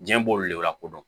Diɲɛ b'olu le lakodɔn